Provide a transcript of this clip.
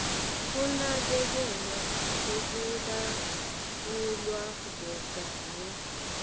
kunakekelwa lokulawulwako kanye